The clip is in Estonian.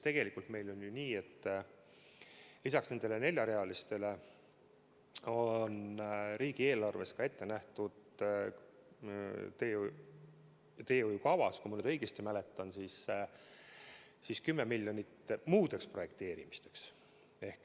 Tegelikult meil on ju nii, et lisaks nendele neljarealistele on riigieelarves ette nähtud teehoiukavas, kui ma nüüd õigesti mäletan, 10 miljonit muudeks projekteerimisteks.